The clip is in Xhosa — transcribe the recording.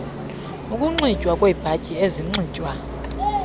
ukunxitywa kweebhatyi ezinxitywa